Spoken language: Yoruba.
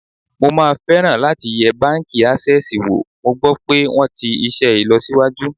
Mo máa fẹ́ràn láti yẹ báńkì Ásẹ́sìì wò, mo gbọ́ pé wón ti iṣẹ́ ìlọsíwájú.